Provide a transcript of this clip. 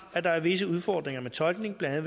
at der er visse udfordringer med tolkning blandt